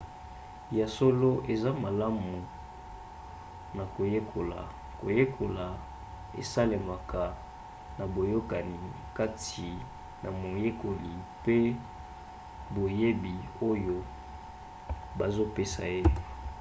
ya solo eza malamu na koyekola. koyekola esalemaka na boyokani kati na moyekoli mpe boyebi oyo bazopesa ye